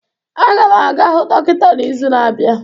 Aga m aga hụ dọkịta n'izu na-abịa